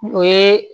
O ye